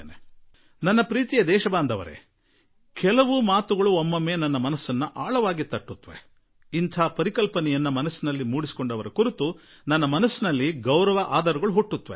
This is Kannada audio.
ನನ್ನೊಲವಿನ ನಾಗರಿಕರೆ ಕೆಲವೊಮ್ಮೆ ಕೆಲವೊಂದು ಸಂಗತಿಗಳು ನನ್ನ ಮನಸ್ಸಿಗೆ ನಾಟಿಬಿಡುತ್ತವೆ ಮತ್ತು ಯಾರಿಗೆ ಇದರ ಕಲ್ಪನೆ ಬರುವುದೋ ಅವರನ್ನು ಕುರಿತು ನನ್ನ ಮನಸ್ಸಿನಲ್ಲಿ ಒಂದು ವಿಶೇಷ ಆದರಭಾವ ಉಂಟಾಗಿಬಿಡುತ್ತದೆ